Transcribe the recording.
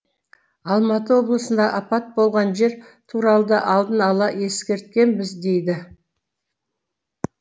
алматы облысында апат болған жер туралы да алдын ала ескерткенбіз дейді